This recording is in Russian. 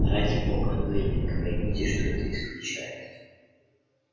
ради бога лэннинг поймите что это исключает